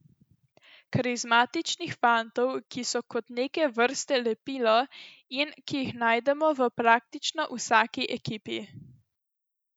Karizmatičnih fantov, ki so kot neke vrste lepilo in ki jih najdemo v praktično vsaki ekipi.